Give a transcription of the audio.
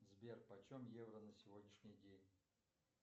сбер почем евро на сегодняшний день